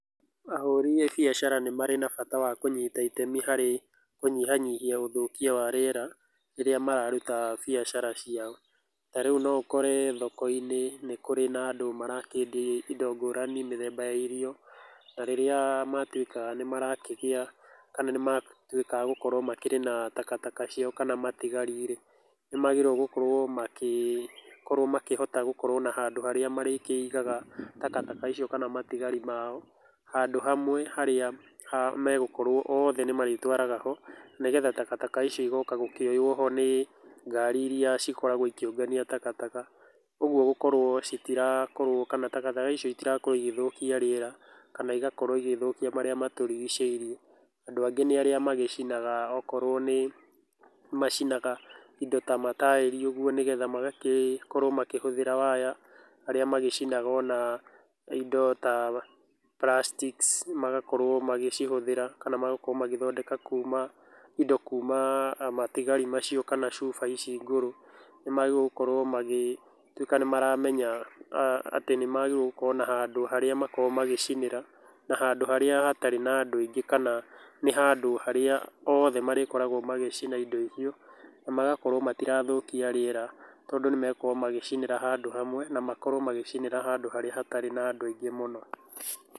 Ahũri a biacara nĩ marĩ na bata wa kũnyita itemi harĩ kũnyihanyihia ũthũkia wa rĩera rĩrĩa mararuta biacara ciao. Ta rĩu no ũkore thoko-inĩ nĩ kũrĩ na andũ marakĩendia indo ngũrani, mĩthemba ya irio, na rĩrĩa matuĩka nĩ marakĩgĩa kana nĩ matuĩka agũkorũo makĩrĩ na takataka ciao kana matigarĩ rĩ, nĩ magĩrĩirũo gũkorũo magĩkorũo makĩhota gũkorũo na handũ harĩa marĩigaga takataka icio kana matigarĩ mao, handũ hamwe harĩa megũkorũo othe nĩ marĩtwaraga ho, nĩgetha takataka icio cigoka kuoywo nĩ ngari irĩa cikoragũo ikĩũngania takataka. Ũguo gũkorũo citirakorũo kana takataka icio itirakorũo ĩgĩthũkia rĩera kana igakorũo igĩthũkia marĩa matũrigicĩirie. Andũ nĩ arĩa magĩcinaga okorũo nĩ macinaga indo ta ma taĩri ũguo nĩgetha magagĩkorũo makĩhũthĩra waya, arĩa magĩcina ona indo ta plastics magakorũo magĩcihũthĩra kana magakorũo magĩthondeka kuuma indo kuuma matigari macio kana cuba ici ngũrũ. Nĩ maagĩrĩirũo gũkorũo magĩtuĩka nĩ maramenya atĩ nĩ maagĩrĩirũo gũkorũo na handũ harĩa makoragũo magĩcinĩra na handu harĩa hatarĩ na andũ aingĩ kana nĩ handũ harĩa othe marĩkoragũo magĩcina indo icio na magakorũo matirathũkia rĩera, tondũ nĩ megũkorũo magĩcinĩra handũ hamwe na makorũo magĩcinĩra handũ harĩa hatarĩ na andũ aingĩ mũno.